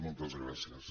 moltes gràcies